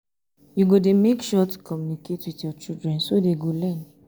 you go dey make sure to communicate with your children so dey go learn